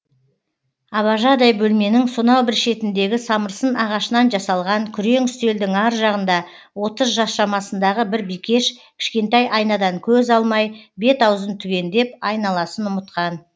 абажадай бөлменің сонау бір шетіндегі самырсын ағашынан жасалған күрең үстелдің ар жағында отыз жас шамасындағы бір бикеш кішкентай айнадан көз алмай бет аузын түгендеп айналасын ұмытқан